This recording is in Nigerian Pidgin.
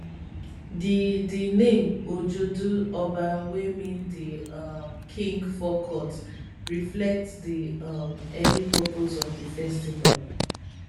di di name ojude oba wey mean di um king forecourt reflect di um early purpose of di festival